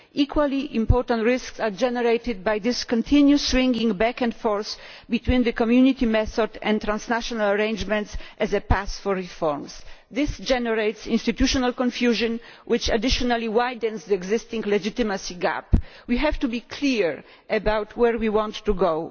Equally important risks are generated by this continuous swinging back and forth between the Community method and transnational arrangements along the path to reform. This generates institutional confusion which additionally widens the existing legitimacy gap. We have to be clear about where we want to go.